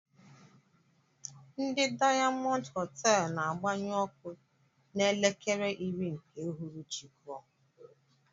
Ndị diamond hotelú na-agbanyu ọkụ na elekere iri nke ụhụrụchi kụọ.